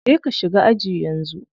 Je ka shiga aji yanzu.